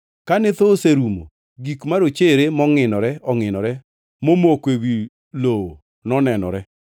Kane thoo oserumo, gik marochere mongʼinore ongʼinore momoko ewi lowo nonenore.